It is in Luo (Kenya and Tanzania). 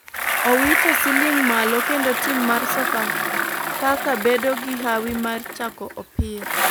Owito siling malo kendo tim mar sofa faka bedo gi hawi mar chako opira.